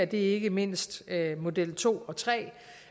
det er ikke mindst model to og tre